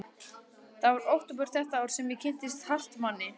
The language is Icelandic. Það var í október þetta ár sem ég kynntist Hartmanni.